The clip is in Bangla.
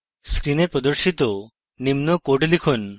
screen প্রদর্শিত নিম্ন code লিখুন